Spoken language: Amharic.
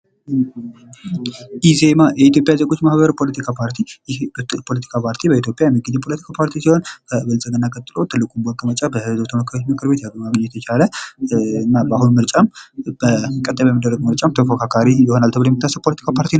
ኢዜማ የኢትዮጵያ ዜጎች ማህበር ፖለቲካ ፓርቲ ይሄ ፖለቲካ ፓርቲ በኢትዮጵያ የሚገኝ እጩ ተፎካካሪ ፓርቲ ሲሆን ከብልፅግና ቀጥሎ በህዝብ ተወካዮች ዘንድ ብዙ ወንበር ያገኘ በቀጣዩ ምርጫም ጥሩ ተፎካካሪ ይሆናል ተብሎ የሚጠበቅ ነዉ።